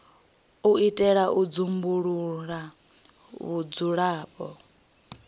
u itela u dzumbulula vhudzulapo